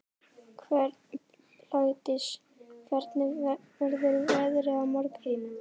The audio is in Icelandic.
Blædís, hvernig verður veðrið á morgun?